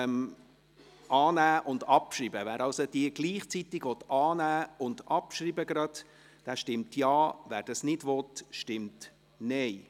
Wer die Ziffer 5 annehmen und gleichzeitig abschreiben will, stimmt Ja, wer dies nicht will, stimmt Nein.